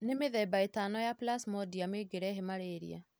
Nĩ mĩthemba ĩtano ya Plasmodium ĩngĩrehe malaria